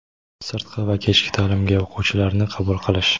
sirtqi va kechki ta’limga o‘quvchilarni qabul qilish:.